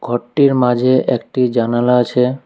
ঘরটির মাঝে একটি জানালা আছে।